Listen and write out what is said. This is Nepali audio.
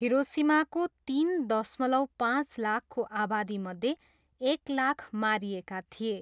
हिरोसिमाको तिन दशमलव पाँच लाखको आबादीमध्ये एक लाख मारिएका थिए।